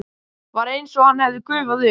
Var einsog hann hefði gufað upp.